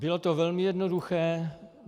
Bylo to velmi jednoduché.